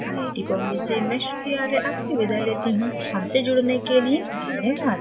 यह स्क्रिप्ट जया द्वारा अनुवादित है आई आई टी बॉम्बे से मैं श्रुति आर्य आपसे विदा लेती हूँ धन्यवाद